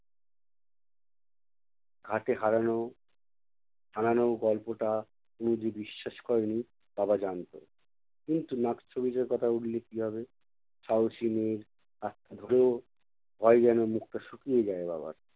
ঘাটে হারানো, হারানো গল্পটা তনু যে বিশ্বাস করেনি বাবা জানতো। কিন্তু নাকছবিটার কথা উঠলে কী হবে! সাহসী মেয়ের ভয়ে যেনো মুখটা শুকিয়ে যায় বাবার।